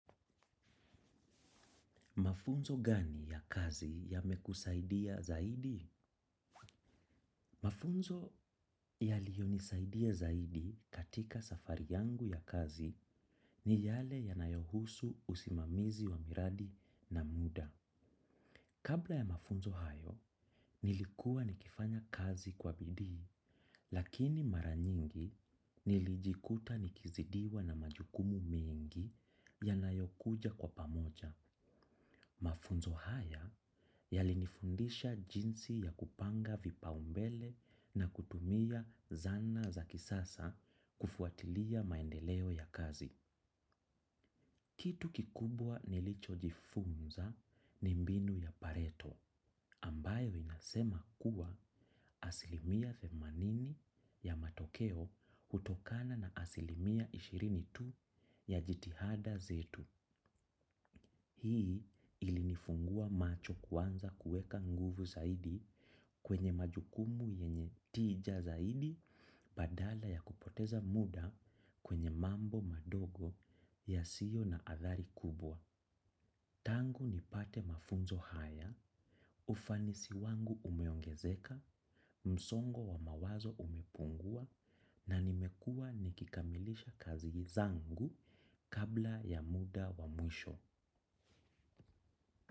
Mafunzo gani ya kazi yamekusaidia zaidi? Mafunzo yaliyo nisaidia zaidi katika safari yangu ya kazi ni yale yanayohusu usimamizi wa miradi na muda. Kabla ya mafunzo hayo, nilikuwa nikifanya kazi kwa bidii, lakini maranyingi nilijikuta nikizidiwa na majukumu mengi yanayokuja kwa pamoja. Mafunzo haya yalinifundisha jinsi ya kupanga vipa umbele na kutumia zana za kisasa kufuatilia maendeleo ya kazi. Kitu kikubwa nilicho jifunza ni mbinu ya pareto ambayo inasema kuwa asilimia themanini ya matokeo hutokana na asilimia ishirini tu ya jitihada zetu. Hii ili nifungua macho kuanza kueka nguvu zaidi kwenye majukumu yenye tija zaidi badala ya kupoteza muda kwenye mambo madogo yasio na athari kubwa. Tangu nipate mafunzo haya, ufanisi wangu umeongezeka, msongo wa mawazo umepungua na nimekua nikikamilisha kazi zangu kabla ya muda wa mwisho.